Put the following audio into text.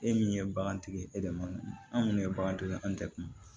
E min ye bagantigi ye e de ma anw ye bagantigi ye anw tɛ kuma